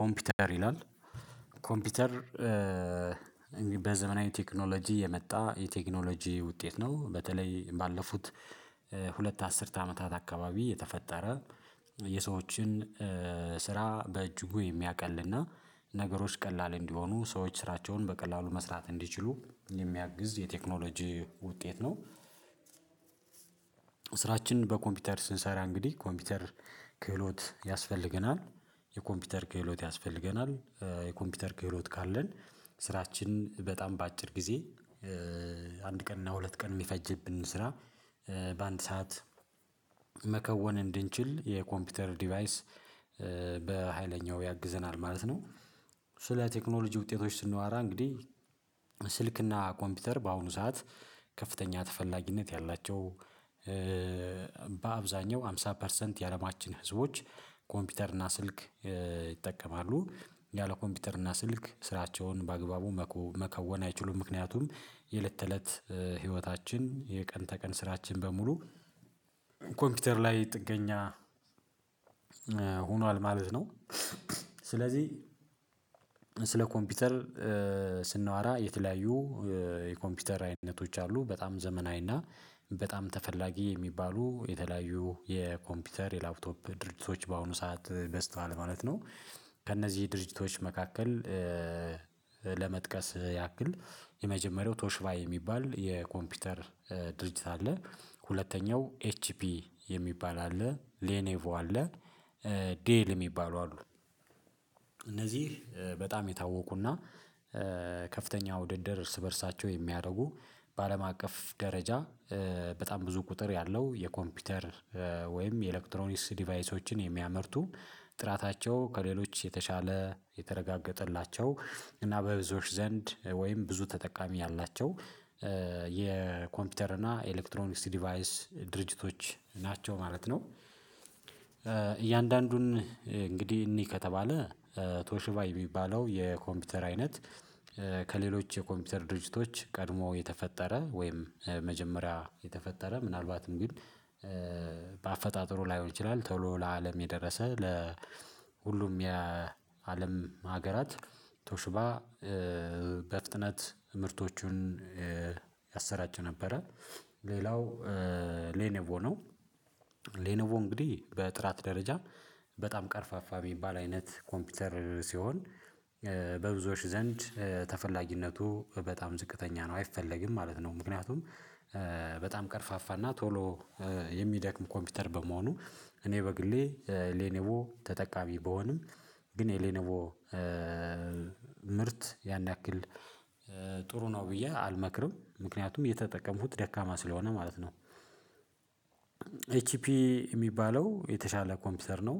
ኮምፒውተር ይላል። ኮምፒውተር በዘመናዊ ቴክኖሎጂ የመጣ የቴክኖሎጂ ውጤት ነው። በተለይ ባለፉት ሁለት አስርት አመታት አካባቢ የተፈጠረ የሰዎችን ስራ በእጅጉ የሚያቀልና ነገሮች ቀላል እንዲሆኑ ሰዎች ስራቸውን በቀላሉ መስራት እንዲችሉ የሚያግዝ የቴክኖሎጂ ውጤት ነው። ስራችንን በኮምፒውተር ስንሰራ እንግዲህ ኮምፒውተር ክህሎት ያስፈልገናል የኮምፒውተር ክህሎት ያስፈልገናል የኮምፒውተር ክህሎት ካለን ስራችን በጣም በአጭር ጊዜ አንድ ቀን እና ሁለት ቀን የሚፈጅብን ስራ በአንድ ሰዓት መከወን እንድንችል የኮምፒውተር ዲቫይስ በሃይለኛው ያግዘናል ማለት ነው። ስለ ቴክኖሎጂ ውጤቶች ስናወራ እንግዲህ ስልክና ኮምፒውተር በአሁኑ ሰዓት ከፍተኛ ተፈላጊነት ያላቸው በአብዛኛው ሃምሳ ፐርሰንት የአለማችን ህዝቦች ኮምፒውተር እና ስልክ ይጠቀማሉ። ያለ ኮምፒውተር እና ስልክ ስራቸውን በአግባቡ መከወን አይችሉም ምክንያቱም የለት ተለት ህይወታችን የቀን ተቀን ስራችን በሙሉ ኮምፒውተር ላይ ጥገኛ ሆኗል ማለት ነው። ስለዚህ ስለ ኮምፒውተር ስናወራ የተለያዩ የኮምፒውተር አይነቶች አሉ በጣም ዘመናዊና በጣም ተፈላጊ የሚባሉ የተለያዩ የኮምፒውተር የላፕቶፕ ድርጅቶች በአሁኑ ሰዓት በዝቷል ማለት ነው። ከእነዚህ ድርጅቶች መካከል ለመጥቀስ ያክል የመጀመሪያው ቶሽባ ሚባል የኮምፒውተር ድርጅት አለ ሁለተኛው ኤችፒ የሚባል አለ ሌኔቮ አለ። ዴል የሚባሉ አሉ። እነዚህ በጣም የታወቁና ከፍተኛ ውድድር እርስ በእርሳቸው የሚያደርጉ በአለም አቀፍ ደረጃ በጣም ብዙ ቁጥር ያለው የኮምፒውተር ወይም የኤሌክትሮኒክስ ዲቫይሶችን የሚያመርቱ ጥራታቸው ከሌሎች የተሻለ የተረጋገጠላቸው እና በብዙዎች ዘንድ ወይም ብዙ ተጠቃሚ ያላቸው የኮምፒውተር እና ኤሌክትሮኒክስ ዲቫይስ ድርጅቶች ናቸው ማለት ነው። እያንዳንዱን እንግዲህ እንይ ከተባለ ቶሽባ የሚባለው የኮምፒውተር አይነት ከሌሎች የኮምፒውተር ድርጅቶች ቀድሞ የተፈጠረ ወይም መጀመሪያ የተፈጠረ ምናልባትም ግን በአፈጣጠሩ ላይሆን ይችላል ቶሎ ለአለም የደረሰ ለሁሉም የአለም ሀገራት ቶሽባ በፍጥነት ምርቶቹን ያሰራጭ ነበረ። ሌላው ሌኔቮ ነው። ሌኔቮ እንግዲህ በጥራት ደረጃ በጣም ቀርፋፋ ሚባል አይነት ኮምፒውተር ሲሆን በብዙዎች ዘንድ ተፈላጊነቱ በጣም ዝቅተኛ ነው አይፈለግም ማለት ነው። ምክንያቱም በጣም ቀርፋፋና ቶሎ የሚደክም ኮምፒውተር በመሆኑ እኔ በግሌ ሌኔቮ ተጠቃሚ ብሆንም ግን የሌነቮ ምርት ያን ያክል ጥሩ ነው ብዬ አልመክርም ምክንያቱ የተጠቀምኩት ደካማ ስለሆነ ማለት ነው። ኤችፒ ሚባለው የተሻለ ኮምፒውተር ነው።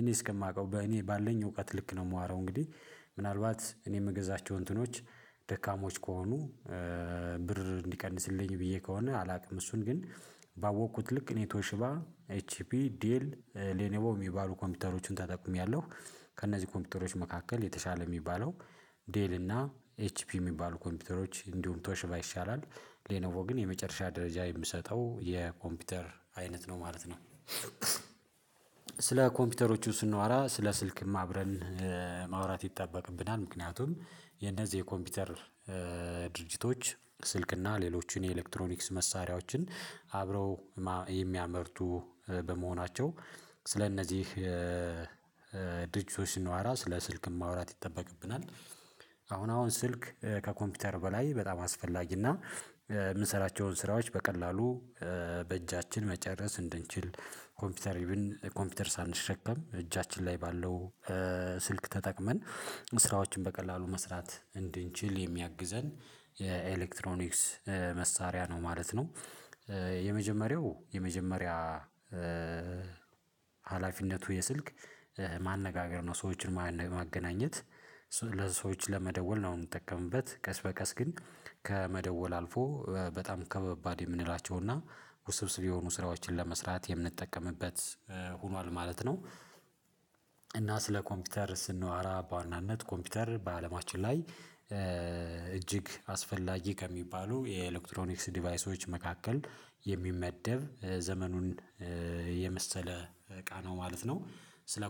እኔ እስከማውቀው በእኔ ባለኝ እውቀት ልክ ነው ማወራው እንግዲህ ምናልባት እኔ ምገዛቸው እንትኖች ደካሞች ከሆኑ ብር እንዲቀንስልኝ ብዬ ከሆነ አላቅም እሱን ግን ባወቅኩት ልክ ኔቶ ሽባ ኤች ፒ ዲኤል ሌኔቮ የሚባሉ ኮምፒተሮችን ተጠቂሚያለሁ። ከእነዚህ ኮምፒተሮች መካከል የተሻለ የሚባለው ዴል እና ኤችፒ የሚባሉ ኮምፒውተሮች እንዲሁም ቶሽባ ይሻላል ሌኖቮ ግን የመጨረሻ ደረጃ የምሰጠው የኮምፒውተር አይነት ነው ማለት ነው። ስለ ኮምፒውተሮቹ ስንዋራ ስለ ስልክም አብረን ማውራት ይጠበቅብናል ምክንያቱም የነዚህ የኮምፒውተር ድርጅቶች ስልክና ሌሎችን የኤሌክትሮኒክስ መሳሪያዎችን አብረው የሚያመርቱ በመሆናቸው ስለእነዚህ ድርጅቶች ስናወራ ስለ ስልክ ማውራት ይጠበቅብናል። አሁን አሁን ስልክ ከኮምፒውተር በላይ በጣም አስፈላጊና ምሰራቸው ስራዎች በቀላሉ በእጃችን መጨረስ እንድንችል ኮምፒውተር ኢቨን ኮምፒውተር ሳንሸከም እጃችን ላይ ባለው ስልክ ተጠቅመን ስራዎችን በቀላሉ መስራት እንድንችል የሚያግዘን የኤሌክትሮኒክስ መሳሪያ ነው ማለት ነው። የመጀመሪያው የመጀመሪያ ሀላፊነቱ የስልክ ማነጋገር ነው ሰዎችን ማገናኘት ለሰዎች ለመደወል ነው ምጠቀምበት ቀስ በቀስ ግን ከመደወል አልፎ በጣም ከበባድ የምንላቸው እና ውስብስብ የሆኑ ስራዎችን ለመስራት የምንጠቀምበት ሆኗል ማለት ነው። እና ስለ ኮምፒውተር ስናወራ በዋናነት ኮምፒውተር በአለማችን ላይ እጅግ አስፈላጊ ከሚባሉ የኤሌክትሮኒክስ ዲቫይሶች መካከል የሚመደብ ዘመኑን የመሰለ እቃ ነው ማለት ነው። ስለ